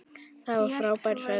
Það var frábær ferð.